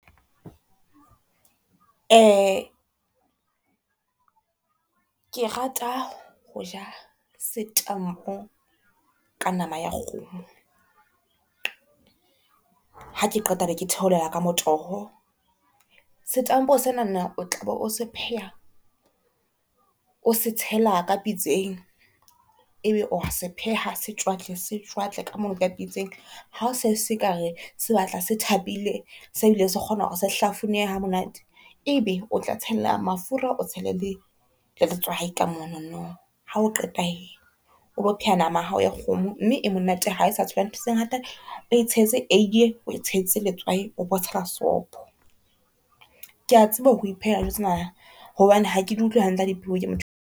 Ke rata ho ja setampo ka nama ya kgomo, ha ke qeta be ke theolela ka motoho. Setampo sena na o tlabo o se pheha o se tshela ka pitseng ebe o a se pheha se tjwatle se tjwatle ka mono, ka pitseng ha se seka re se batla se thapile, se bileng se kgona hore se hlafunehe ha monate, ebe o tla tshelela mafura o tshele le letswai ka monono. Ha o qeta he, o lo phela nama ya hao ya kgomo mme e monate ha e sa tshelwa ntho tse ngata, o e tshetse eiye e o etshetse letswai o bo tshela sopho. Ke a tseba ho iphehela dijo tsena hobane ha ke di utlwe hantle ha di pheuwe ke motho.